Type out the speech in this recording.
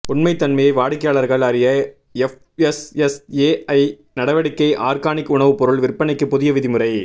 உண்மைத் தன்மையை வாடிக்கையாளர்கள் அறிய எஃப்எஸ்எஸ்ஏஐ நடவடிக்கை ஆர்கானிக் உணவு பொருள் விற்பனைக்கு புதிய விதிமுறை